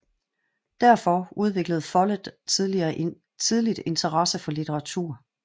Derfor udviklede Follett tidligt interesse for litteratur